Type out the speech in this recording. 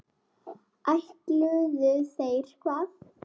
Ætluðu þeir hvað?